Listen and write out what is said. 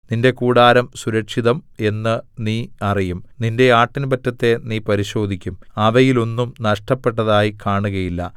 നിന്റെ കൂടാരം സുരക്ഷിതം എന്ന് നീ അറിയും നിന്റെ ആട്ടിൻപറ്റത്തെ നീ പരിശോധിക്കും അവയിൽ ഒന്നും നഷ്ടപ്പെട്ടതായി കാണുകയില്ല